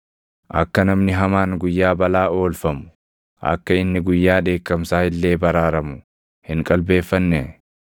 Akka namni hamaan guyyaa balaa oolfamu, akka inni guyyaa dheekkamsaa illee baraaramu hin qalbeeffannee?